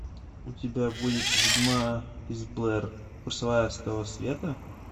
у тебя будет ведьма из блэр курсовая с того света